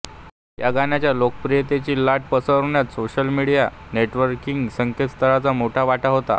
या गाण्याच्या लोकप्रियतेची लाट पसरवण्यात सोशल नेटवर्किंग संकेतस्थळांचा मोठा वाटा होता